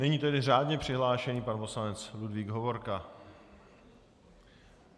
Nyní tedy řádně přihlášený pan poslanec Ludvík Hovorka.